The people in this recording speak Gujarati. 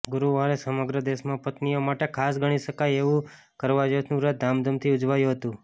ગુરુવારે સમગ્ર દેશમાં પત્નીઓ માટે ખાસ ગણી શકાય એવું કરવાચોથનું વ્રત ધામધૂમથી ઉજવાયું હતું